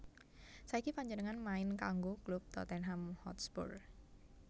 Saiki panjenengané main kanggo klub Tottenham Hotspur